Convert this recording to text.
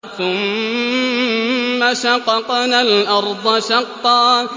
ثُمَّ شَقَقْنَا الْأَرْضَ شَقًّا